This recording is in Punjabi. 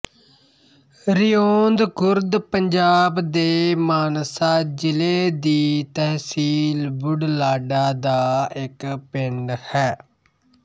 ਰਿਉਂਦ ਖੁਰਦ ਪੰਜਾਬ ਦੇ ਮਾਨਸਾ ਜ਼ਿਲ੍ਹੇ ਦੀ ਤਹਿਸੀਲ ਬੁਢਲਾਡਾ ਦਾ ਇੱਕ ਪਿੰਡ ਹੈ